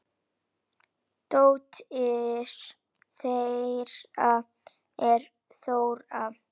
Dóttir þeirra er Þóra.